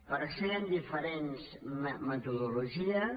per això hi han diferents metodologies